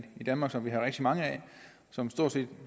danmark som vi har rigtig mange af som stort set